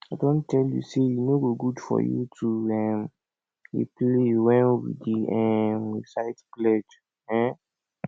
i don tell you say e no good for you to um dey play wen we dey um recite pledge um